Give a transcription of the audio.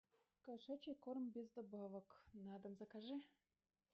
кошачий корм без добавок на дом закажи